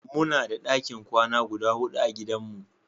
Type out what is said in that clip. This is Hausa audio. Muna da ɗakin kwana guda huɗu a gidan mu.